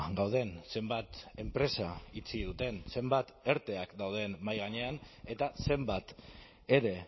gauden zenbat enpresa itxi duten zenbat erteak dauden mahai gainean eta zenbat ere